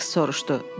deyə Saiks soruşdu.